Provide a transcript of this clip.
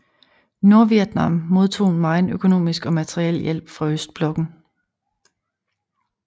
Nordvietnam modtog megen økonomisk og materiel hjælp fra østblokken